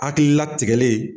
Hakili latigɛ le.